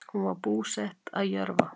Hún var búsett að Jörfa.